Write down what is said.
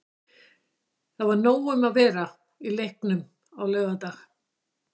Það var nóg um að vera í leiknum á laugardag.